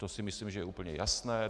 To si myslím, že je úplně jasné.